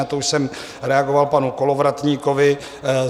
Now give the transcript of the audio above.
Na to už jsem reagoval panu Kolovratníkovi.